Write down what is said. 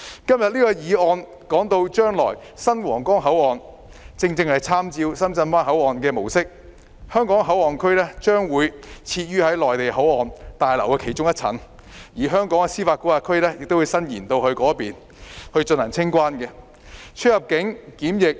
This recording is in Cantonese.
今天這項議案提到將來的新皇崗口岸正是參照深圳灣口岸模式，香港口岸區將設於內地口岸旅檢大樓的其中一層，而香港的司法管轄區亦會延伸至該處，以進行清關、出入境及檢疫安排。